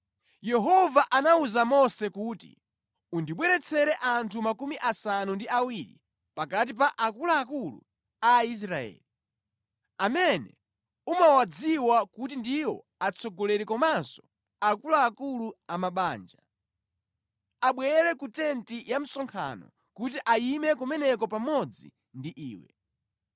Yehova anawuza Mose kuti, “Undibweretsere anthu 70 ochokera pakati pa akuluakulu a Aisraeli, amene umawadziwa kuti ndiwo atsogoleri komanso akuluakulu a mabanja. Abwere ku tenti ya msonkhano kuti ayime kumeneko pamodzi ndi iwe.